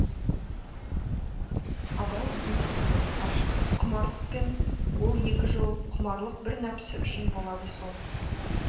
абай бүй дейді ғашықтық құмарлықпен ол екі жол құмарлық бір нәпсі үшін болады сол